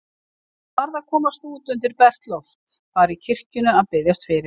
Hann varð að komast út undir bert loft, fara í kirkjuna að biðjast fyrir.